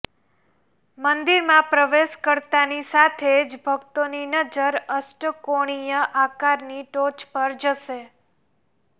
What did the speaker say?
મંદિરમાં પ્રવેશ કરતાની સાથે જ ભક્તોની નજર અષ્ટકોણીય આકારની ટોચ પર જશે